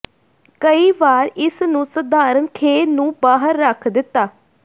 ਕਈ ਵਾਰ ਇਸ ਨੂੰ ਸਧਾਰਨ ਖੇਹ ਨੂੰ ਬਾਹਰ ਰੱਖ ਦਿੱਤਾ